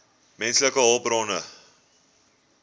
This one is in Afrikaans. menslike hulpbronne